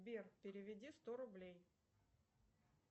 сбер переведи сто рублей